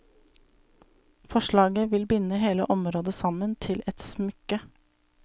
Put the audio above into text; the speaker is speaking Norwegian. Forslaget vil binde hele området sammen til et smykke.